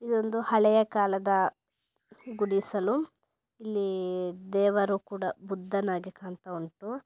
ಇದೊಂದು ಹಳೆಯ ಕಾಲದ ಗುಡಿಸಲು ಇಲ್ಲಿ ದೇವರು ಕೂಡ ಬುದ್ಧನಾಗಿ ಕಾಣ್ತಾ ವುಂಟು.